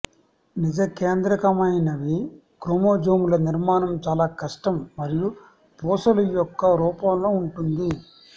నిజకేంద్రకమైనవి క్రోమోజోములు నిర్మాణం చాలా కష్టం మరియు పూసలు యొక్క రూపంలో ఉంటుంది